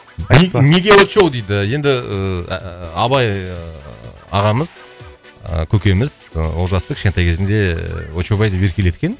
неге очоу дейді енді ыыы абай ыыы ағамыз ы көкеміз ы олжасты кішкентай кезінде ыыы очоубай деп еркелеткен